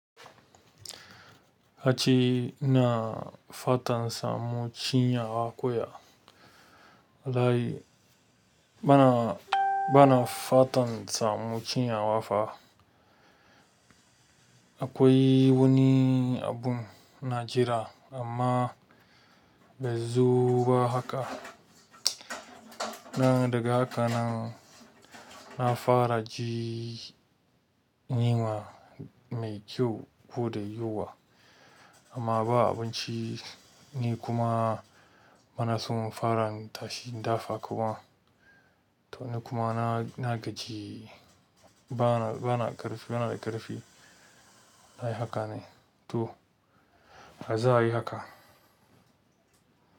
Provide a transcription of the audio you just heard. Kace ina fatan samu ciyawa kuya. Da dai bana, bana fatan samu cinyawa fa. Akwai wani abun ina jira amma bai zo ba haka. Nan daga haka nan, na fara ji yunwa mai kyau ko da yawa amma ba abinci ni kuma bana so fara tashi in dafa kuma. Domin kuma nikuma na, nagaji bana, bana da ƙarfi. Dai haka ne. To, azo ayi haka.